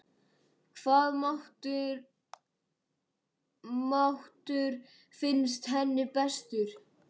Hvaða matur finnst henni bestur?